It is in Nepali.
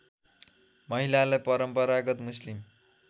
महिलालाई परम्परागत मुस्लिम